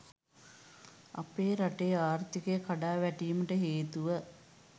අපේ රටේ ආර්ථිකය කඩා වැටීමට හේතුව